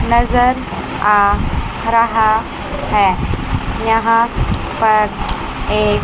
नजर आ रहा है यहां पर एक--